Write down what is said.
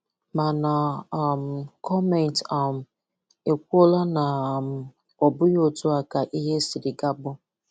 Màna, um gọọmentị um ekwùolá na um òbùghị otú a ka ihe sịrị ga-abụ.